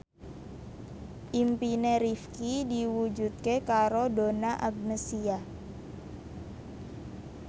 impine Rifqi diwujudke karo Donna Agnesia